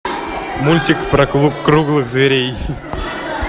мультик про круглых зверей